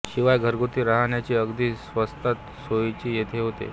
शिवाय घरगुती रहाण्याची अगदी स्वस्तात सोयही येथे होते